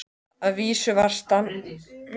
Að vísu var stansað dálítið á leiðinni.